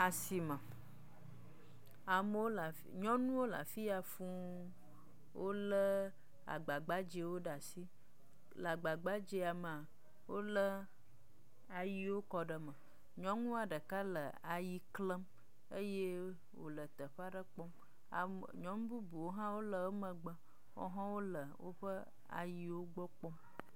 Asime, ameo, nyɔnuwo le afi ya fũu, wolé agba gbadzɛwo ɖe asi. Le agba gbadzɛ ya mea, wolé ayiwo kɔ ɖe eme. Nyɔnua ɖeka le ayi klem eye wòle teƒe aɖe kpɔm. Nyɔnu bubuwo hã le eƒe megbe, woawo hã wole woƒe ayiwo gbɔ kpɔm